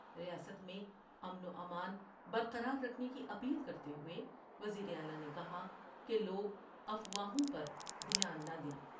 ریاست میں امن وامان برقراررکھنے کی اپیل کرتے ہوۓ وزیر اعلی نے کہا کہ لوگ افواوہوں پر دھیان نہ دیں ۔